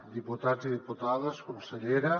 diputats i diputades consellera